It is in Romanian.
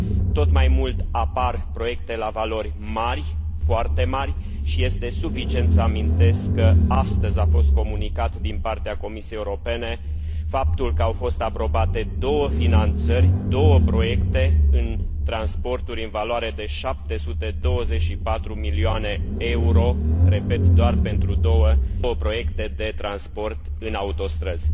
Tot mai mult apar proiecte la valori mari, foarte mari, și este suficient să amintesc că astăzi a fost comunicat din partea Comisiei Europene faptul că au fost aprobate două finanțări, două proiecte în transporturi în valoare de 724 de milioane de euro, repet doar pentru două proiecte de transport în autostrăzi.